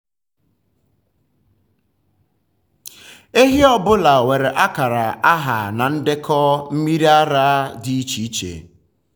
ehi ọ um bụla nwere akara aha na ndekọ um mmiri ara dị iche iche.